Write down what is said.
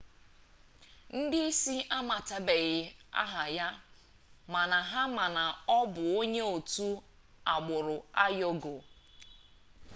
ndị isi amatabeghi aha ya mana ha ma na ọ bụ onye otu agbụrụ uigọọ